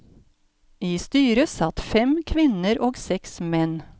I styret satt fem kvinner og seks menn.